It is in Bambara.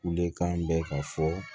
Lenkan bɛ ka fɔ